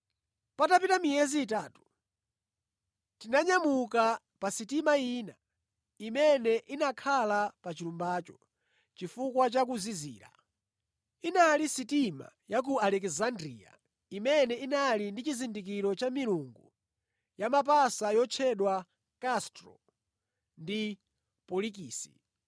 Patapita miyezi itatu, tinanyamuka pa sitima ina imene inakhala pa chilumbacho chifukwa cha kuzizira. Inali sitima ya ku Alekisandriya imene inali ndi chizindikiro cha milungu ya mapasa yotchedwa Kastro ndi Polikisi.